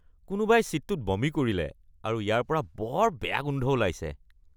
কোনোবাই ছিটটোত বমি কৰিলে আৰু ইয়াৰ পৰা বৰ বেয়া গোন্ধ ওলাইছে।